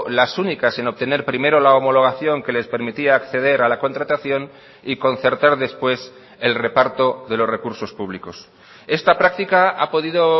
las únicas en obtener primero la homologación que les permitía acceder a la contratación y concertar después el reparto de los recursos públicos esta práctica ha podido